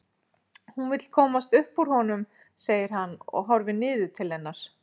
Hún vill komast upp úr honum segir hann og horfir niður til hennar.